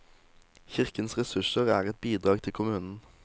Kirkens ressurser er et bidrag til kommunen.